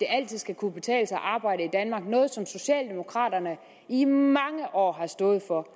altid skal kunne betale sig at arbejde noget som socialdemokraterne i mange år har stået for